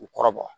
U kɔrɔ bɔ